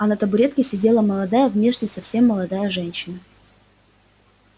а на табуретке сидела молодая внешне совсем молодая женщина